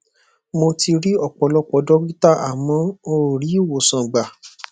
mo ti ri ọpọlọpọ dọkítà àmọ n ò rí ìwòsàn gbà